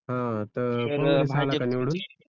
हा तर काँग्रेसआला का निवडून